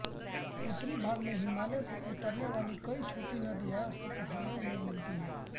उत्तरी भाग में हिमालय से उतरने वाली कई छोटी नदियाँ सिकरहना में मिलती है